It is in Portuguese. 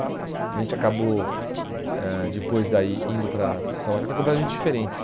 A gente acabou eh, depois daí, indo para São Mateus, que é completamente diferente.